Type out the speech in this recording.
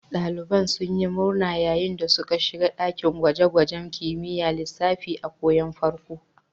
Daliban sun yi murna yayin da suka shiga dakin gwaje-gwajen kimiyyar lissafi a karon farko.